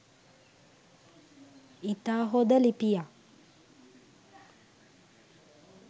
ඉතා හොද ලිපියක්.